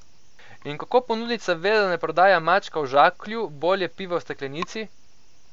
In kako ponudnica ve, da ne prodaja mačka v žaklju, bolje, piva v steklenici?